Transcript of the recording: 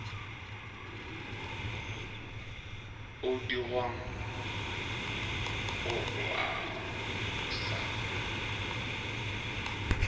o dirwang ga o a